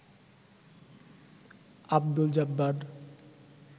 Abdul Jabbar